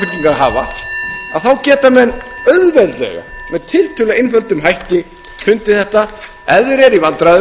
hafa þá geta menn auðveldlega með tiltölulega auðveldum hætti fundið þetta ef þeir eru í vandræðum